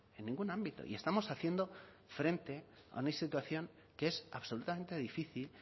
en ningún ámbito y estamos haciendo frente a una situación que es absolutamente difícil